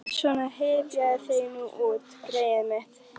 Svona, hypjaðu þig nú út, greyið mitt.